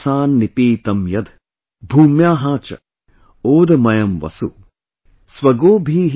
अष्टौ मासान् निपीतं यद्, भूम्याः च, ओदमयम् वसु |